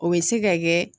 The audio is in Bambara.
O bɛ se ka kɛ